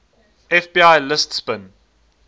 fbi lists bin